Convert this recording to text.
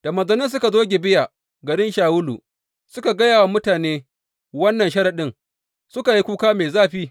Da manzannin suka zo Gibeya garin Shawulu, suka gaya wa mutane wannan sharaɗin, suka yi kuka mai zafi.